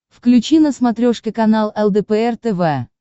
включи на смотрешке канал лдпр тв